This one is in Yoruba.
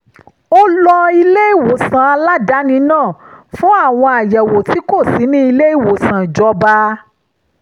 ó lo ilé-ìwòsàn aládàáni náà fún àwọn àyẹ̀wò tí kò sí ní ilé-ìwòsàn ìjọba